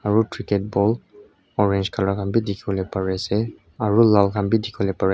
aro cricket ball orange colour khan bi dikipolae pari asae aro laal khan bi dikipolae pari.